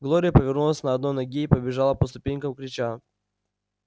глория повернулась на одной ноге и побежала по ступенькам крича